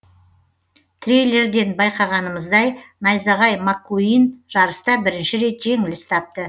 трейлерден байқағанымыздай найзағай маккуин жарыста бірінші рет жеңіліс тапты